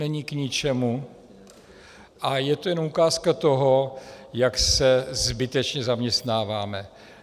Není k ničemu a je to jen ukázka toho, jak se zbytečně zaměstnáváme.